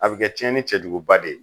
A bi kɛ tiɲɛni cɛjuguba de ye.